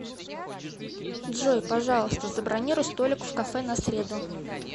джой пожалуйста забронируй столик в кафе на среду